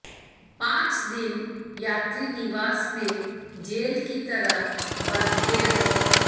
पांच दिन यात्री निवास में जेल की तरह बंधे रहे